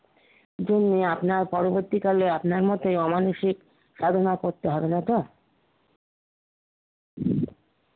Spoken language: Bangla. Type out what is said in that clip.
যিনি আপনার পরবর্তীকালে আপনার মতে অমানুষিক সাধনা করতে পারবে তো?